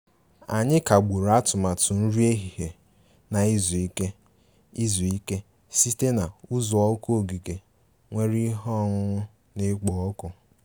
Anyị kagburu atụmatụ nri ehihie na izu ike izu ike site na uzuoku ogige nwere ihe ọṅụṅụ na-ekpo ọkụ